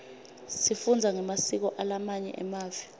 sifundza ngemasiko alamanye mave